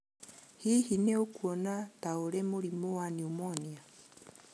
Hihi nĩ ũkuona ta ũrĩ mũrimũ wa pneumonia?